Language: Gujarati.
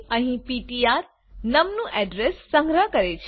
અહીં પીટીઆર નમ નું અડ્રેસ સંગ્રહ કરે છે